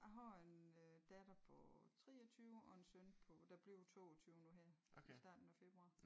A har en øh datter på 23 og en søn på der bliver 22 nu her i starten af februar